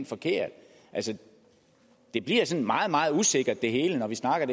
forkert altså det bliver sådan meget meget usikkert det hele når vi snakker